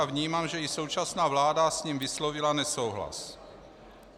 A vnímám, že i současná vláda s ním vyslovila nesouhlas.